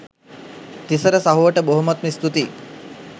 තිසර සහෝට බොහොමත්ම ස්තුතියි